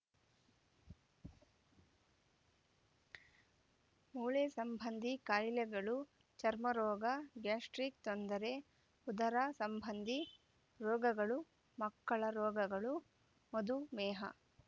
ಮೂಳೆ ಸಂಬಂಧಿ ಕಾಯಿಲೆಗಳು ಚರ್ಮ ರೋಗ ಗ್ಯಾಸ್ಟ್ರಿಕ್‌ ತೊಂದರೆ ಉದರ ಸಂಬಂಧಿ ರೋಗಗಳು ಮಕ್ಕಳ ರೋಗಗಳು ಮಧುಮೇಹ